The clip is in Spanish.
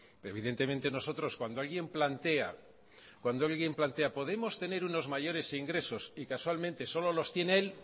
evidentemente nosotros cuando alguien plantea podemos tener unos mayores ingresos y casualmente solo los tiene él